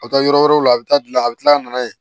A bɛ taa yɔrɔ wɛrɛw la a bɛ taa dilan a bɛ tila ka na yen